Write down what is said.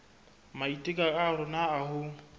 maiteko a rona a ho